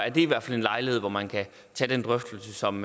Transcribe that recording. i hvert fald en lejlighed hvor man kan tage den drøftelse som